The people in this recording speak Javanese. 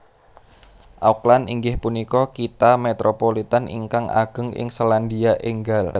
Auckland inggih punika kitha Métropolitan ingkang ageng ing Sélandia Ènggal